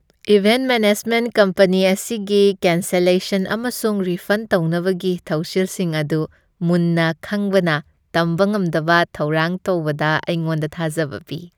Event management company ꯑꯁꯤꯒꯤ cancellation ꯑꯃꯁꯨꯡ refund ꯇꯧꯅꯕꯒꯤ ꯊꯧꯁꯤꯜꯁꯤꯡ ꯑꯗꯨ ꯃꯨꯟꯅ ꯈꯪꯕꯅ ꯇꯝꯕ ꯉꯝꯗꯕ ꯊꯧꯔꯥꯡ ꯇꯧꯕꯗ ꯑꯩꯉꯣꯟꯗ ꯊꯥꯖꯕ ꯄꯤ ꯫